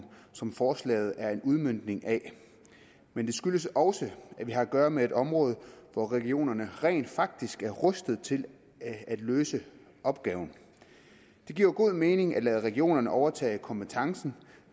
som forslaget er en udmøntning af men det skyldes også at vi har at gøre med et område hvor regionerne rent faktisk er rustet til at løse opgaven det giver jo god mening at lade regionerne overtage kompetencen